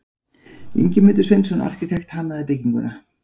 Ingimundur Sveinsson arkitekt hannaði bygginguna.